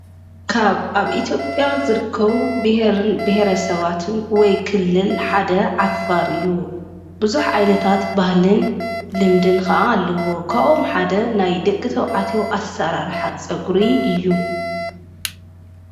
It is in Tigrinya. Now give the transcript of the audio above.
ካብ ኣብ ኢቲጴያ ዘርከዉ ብሔርን ብሔረ ሰባትን ወይ ክልል ሓደ ዓፋር እዩ ብዙኅ ኣይነታት ባህልን ልምድን ከዓ ኣለዎ ካኦም ሓደ ናይ ደቂ ተው ዓቴዎ ኣሠራርሐ ጸጕሪ እዩ።